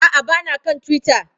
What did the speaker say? A'a, ba na kan Twitter.